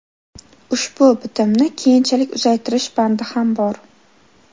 Ushbu bitimni keyinchalik uzaytirish bandi ham bor.